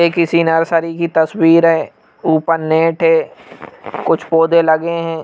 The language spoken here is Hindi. ये किसी नर्सरी की तस्वीर है ऊपर नेट है कुछ पौधे लगे हैं।